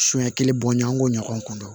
Sunya kelen bɔɲɔn an k'o ɲɔgɔn dɔn